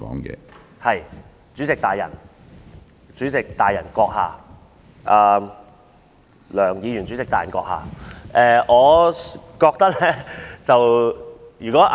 是，主席大人、主席大人閣下、梁議員主席大人閣下。